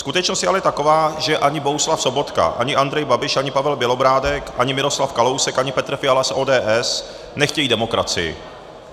Skutečnost je ale taková, že ani Bohuslav Sobotka, ani Andrej Babiš, ani Pavel Bělobrádek, ani Miroslav Kalousek, ani Petr Fiala z ODS nechtějí demokracii.